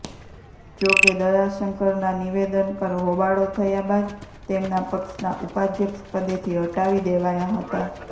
જોકે દયાશંકરના નિવેદન પર હોબાળો થયા બાદ તેમના પક્ષના ઉપાધ્યક્ષપદેથી હટાવી દેવાયા હતા